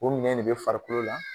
O minɛ de bɛ farikolo la